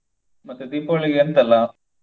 ಮತ್ತೆ Deepavali ಗೆ ಎಂತ ಎಲ್ಲಾ?